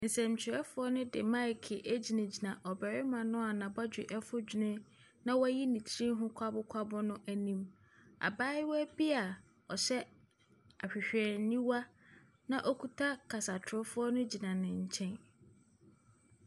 Nsɛntwerɛfoɔ no de maeke gyinagyina ɔbarima no a n'abɔdwe afu dwene na wayi ne tiri ho kwabokwabo no anim. Abaayewa bi a ɔhyɛ ahwehwɛniwa na ɔkuta kasatorofoɔ no gyina ne nkyɛn.